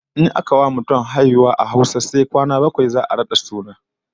In aka wa mutum haihuwa a Hausa to sai kwana na bakwai za'a rada suna